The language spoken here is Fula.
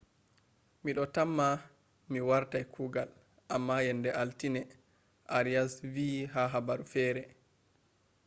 ‘’mido tamma mi wartai kuugal am yenda altine’’arias vi ha habaru fere